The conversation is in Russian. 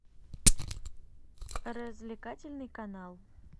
развлекательный канал